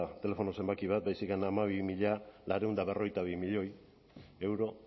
telefono zenbaki bat baizik eta hamabi milioi zortziehun eta berrogeita bi mila euro